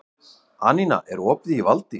Anína, er opið í Valdís?